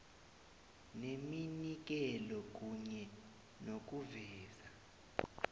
neminikelo kunye nokuveza